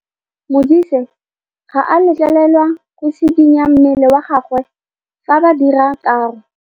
Modise ga a letlelelwa go tshikinya mmele wa gagwe fa ba dira karô.